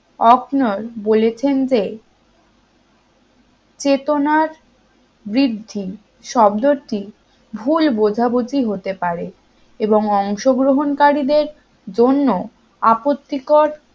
O'Connor বলেছেন যে চেতনার বৃদ্ধি শব্দটি ভুল বোঝাবুঝি হতে পারে এবং অংশগ্রহণকারীদের জন্য আপত্তিকর